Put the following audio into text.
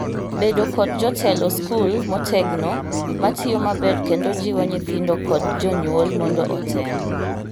bedo kod jotelo skul motegno matiyo maber kendo jiwo nyithindo kod jonyuol mondo otem